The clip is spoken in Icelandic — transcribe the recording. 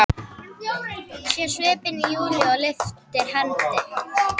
Sér svipinn á Júlíu og lyftir hendi.